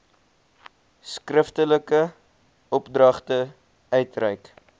skriftelike opdragte uitreik